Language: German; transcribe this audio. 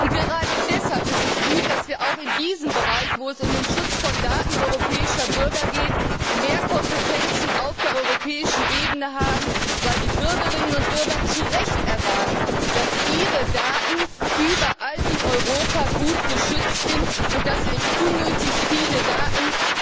Und gerade deshalb ist es gut, dass wir auch in diesem Bereich, wo es um den Schutz von Daten europäischer Bürger geht, mehr Kompetenzen auf europäischer Ebene haben, weil die Bürgerinnen und Bürger zu Recht erwarten, dass ihre Daten überall in Europa gut geschützt sind und dass nicht unnötig viele Daten